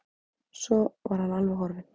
Svo var hann alveg horfinn.